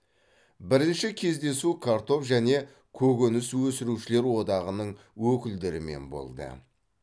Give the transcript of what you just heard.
бірінші кездесу картоп және көкөніс өсірушілер одағының өкілдерімен болды